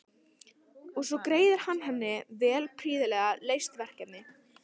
Og svo greiðir hann henni vel fyrir prýðilega leyst verkefni.